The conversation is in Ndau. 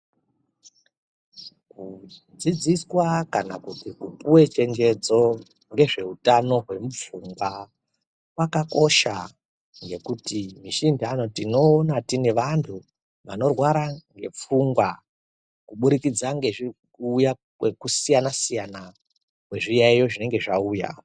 Kudzidziswa kana kuti kupuwa chenjedzo ngezveutano hwemupfungwa kwakakosha ngekuti misi intani tinoona tiine vantu vanorwara ngepfungwa kubudikidza ngekusiyana kwezviyaiyo zvinenge zvauya.